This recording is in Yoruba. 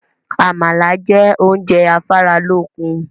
Àmàlà jẹ́ oúnjẹ afáralókun